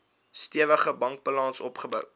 stewige bankbalans opgebou